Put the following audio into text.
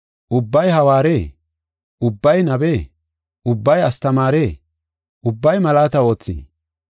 Ubbay hawaaree? Ubbay nabee? Ubbay astamaaree? Ubbay malaata oothii?